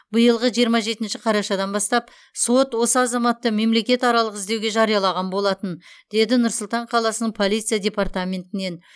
биылғы жиырма жетінші қарашадан бастап сот осы азаматты мемлекетаралық іздеуге жариялаған болатын деді нұр сұлтан қаласының полиция департаментінен